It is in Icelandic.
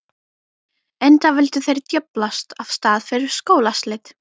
Enda vildu þeir djöflast af stað fyrir skólaslit.